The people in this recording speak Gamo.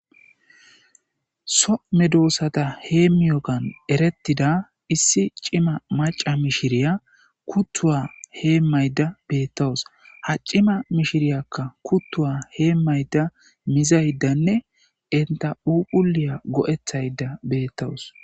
so medoossata heemiyogan erettida issi cima maca mishiriya kutthuwa heemayda bettawus ha cima mishiriyakka kuttuwa heemayda mizaydanne enta phuphuliya go7ethayda beettawus.